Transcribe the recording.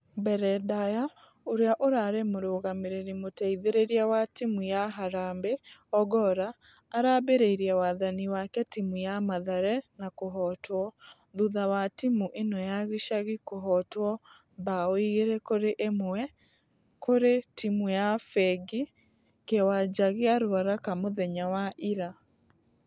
Mbere ndaya ũrĩa ũrarĩ mũrũgamĩrĩri mũteithereria wa timũ ya harambee ogolla arambĩreire wathani wake timũ ya mathare na kũhotwo. Thutha wa timũ ĩno ya gĩcagi kũhotwo bao igĩrĩ kũrĩ ĩmwe kũrĩ timũ ya fengi kĩwanja gĩa ruaraka mũthenya wa ira.